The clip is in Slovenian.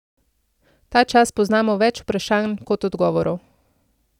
Ta čas poznamo več vprašanj kot odgovorov.